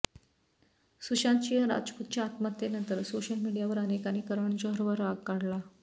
सुशांत सिंह राजपूतच्या आत्महत्येनंतर सोशल मीडियावर अनेकांनी करण जोहरवर राग काढला